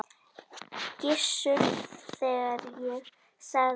Gissur, þegar ég sagði þetta.